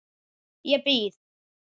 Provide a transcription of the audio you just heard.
Ég býð.